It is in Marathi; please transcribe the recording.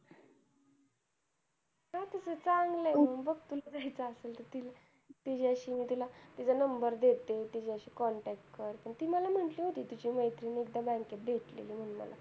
तसं चांगलंय मंग. बघ तुला जायचं असेल तर तिच्याशी मी तिला तिचा number देते तिच्याशी contact कर. ती मला म्हंटली होती, कि तुझी मैत्रीण एकदा bank त भेटलेली म्हणून मला.